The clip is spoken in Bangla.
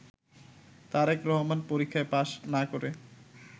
তারেক রহমান পরীক্ষায় পাশ না করে